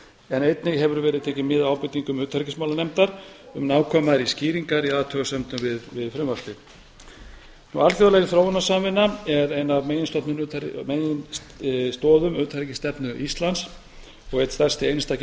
en einnig hefur verið tekið mið af ábendingum utanríkismálanefndar um nákvæmari skýringar í athugasemdum við frumvarpið alþjóðleg þróunarsamvinna er ein af meginstoðum utanríkisstefnu íslands og einn stærsti einstaki